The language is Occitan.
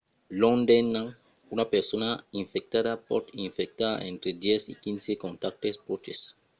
long d'un an una persona infectada pòt infectar entre 10 e 15 contactes pròches